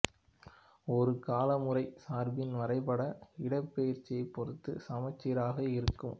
ஒரு காலமுறைமைச் சார்பின் வரைபடம் இடப்பெயர்ச்சியைப் பொறுத்து சமச்சீராக இருக்கும்